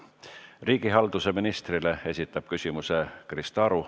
Riigihalduse ministrile esitab küsimuse Krista Aru.